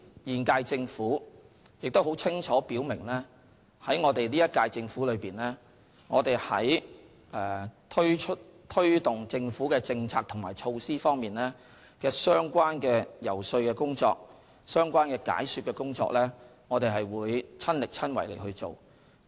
現屆政府亦很清楚表明，本屆政府在推動政府政策及措施方面的相關遊說、解說工作，我們會親力親為去做。